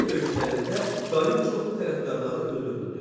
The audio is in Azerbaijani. Küçə döyüşlərində Qayın çoxlu tərəfdarları öldürüldü.